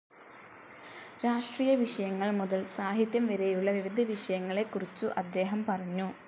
രാഷ്ട്രീയ വിഷയങ്ങൾ മുതൽ സാഹിത്യം വരെയുള്ള വിവിധ വിഷയങ്ങളെക്കുറിച്ച് അദ്ദേഹം പറഞ്ഞു.